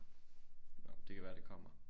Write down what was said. Nåh det kan være det kommer